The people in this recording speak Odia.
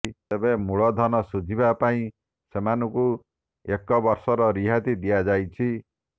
ତେବେ ମୂଳଧନ ସୁଝିବା ପାଇଁ ସେମାନଙ୍କୁ ଏକ ବର୍ଷର ରିଆତି ଦିଆଯାଇଛି